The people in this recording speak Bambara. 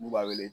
N'u b'a wele